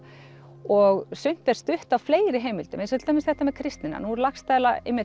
og sumt er stutt af fleiri heimildum eins og til dæmis þetta með kristnina nú er Laxdæla